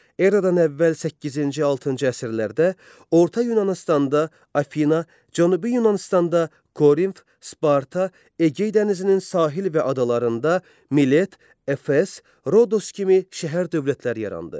Eradan əvvəl səkkizinci-altıncı əsrlərdə Orta Yunanıstanda Afina, Cənubi Yunanıstanda Korinf, Sparta, Egey dənizinin sahil və adalarında Milet, Efes, Rodos kimi şəhər dövlətləri yarandı.